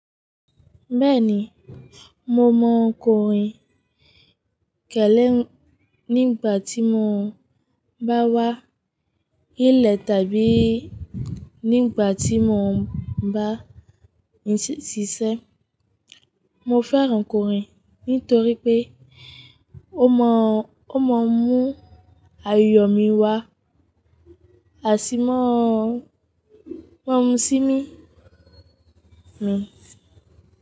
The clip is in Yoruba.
Bẹ́ẹ̀ni, mo mọ kòrìn kẹ́lẹ́ nígbà tí mo bá wá ilé tàbí nígbà tí mo bá ṣiṣẹ́. Mo fẹ́ràn kòrìn nítorí pé ó mọ, ó mọ mú ayọ̀ mi wá, á sì mọ, mọ mú sí mi. Hmm.